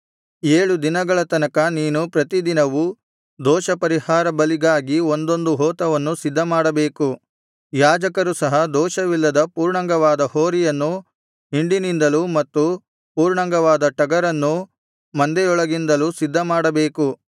ಏಳು ದಿನಗಳ ತನಕ ನೀನು ಪ್ರತಿ ದಿನವೂ ದೋಷಪರಿಹಾರ ಬಲಿಗಾಗಿ ಒಂದೊಂದು ಹೋತವನ್ನು ಸಿದ್ಧಮಾಡಬೇಕು ಯಾಜಕರು ಸಹ ದೋಷವಿಲ್ಲದ ಪೂರ್ಣಾಂಗವಾದ ಹೋರಿಯನ್ನೂ ಹಿಂಡಿನಿಂದಲೂ ಮತ್ತು ಪೂರ್ಣಾಂಗವಾದ ಟಗರನ್ನೂ ಮಂದೆಯೊಳಗಿಂದಲೂ ಸಿದ್ಧಮಾಡಬೇಕು